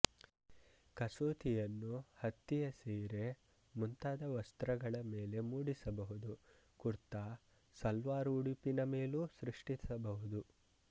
ಕಸೂತಿಯನ್ನು ಹತ್ತಿಯ ಸೀರೆ ಮುಂತಾದ ವಸ್ತ್ರಗಳ ಮೇಲೆ ಮೂಡಿಸಬಹುದು ಕುರ್ತಾಸಲ್ವಾರ್ ಉಡುಪಿನ ಮೇಲೂ ಸೃಷ್ಟಿಸಬಹುದು